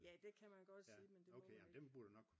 Ja det kan man godt sige men det må man ikke